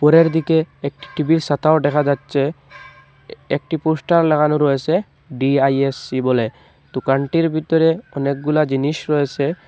একটি টিভির ছাতা ও দেখা যাচ্ছে এ-একটি পোস্টার লাগানো রয়েছে ডি_আই_এস_সি বলে দোকানটির ভিতরে অনেকগুলা জিনিস রয়েছে।